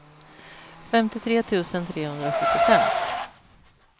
femtiotre tusen trehundrasjuttiofem